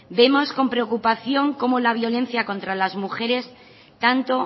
vemos con preocupación cómo la violencia contra las mujeres tanto